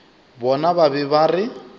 bona ba be ba re